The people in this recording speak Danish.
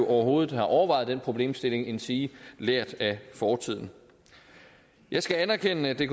overhovedet har overvejet den problemstilling endsige lært af fortiden jeg skal anerkende at det